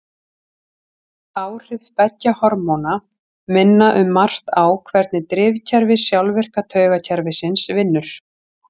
Áhrif beggja hormóna minna um margt á hvernig drifkerfi sjálfvirka taugakerfisins vinnur.